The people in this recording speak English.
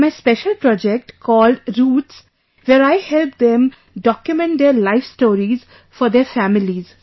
In my special project called 'Roots' where I help them document their life stories for their families